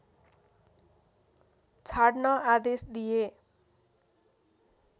छाड्न आदेश दिए